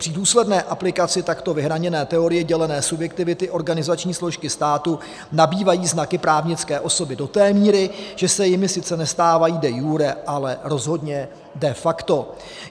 Při důsledné aplikaci takto vyhraněné teorie dělené subjektivity organizační složky státu nabývají znaky právnické osoby do té míry, že se jimi sice nestávají de iure, ale rozhodně de facto.